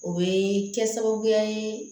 O bɛ kɛ sababuya ye